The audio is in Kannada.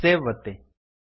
ಸೇವ್ ಒತ್ತಿ